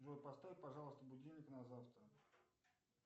джой поставь пожалуйста будильник на завтра